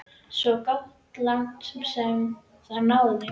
Gott svo langt sem það náði.